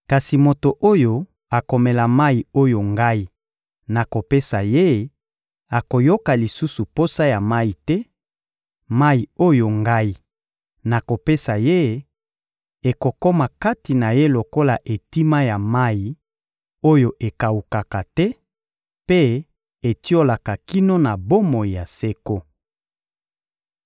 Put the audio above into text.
kasi moto oyo akomela mayi oyo Ngai nakopesa ye akoyoka lisusu posa ya mayi te: mayi oyo Ngai nakopesa ye ekokoma kati na ye lokola etima ya mayi oyo ekawukaka te mpe etiolaka kino na bomoi ya seko.